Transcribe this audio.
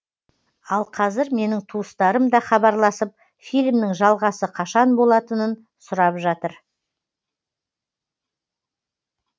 ал қазір менің туыстарым да хабарласып фильмнің жалғасы қашан болатынын сұрап жатыр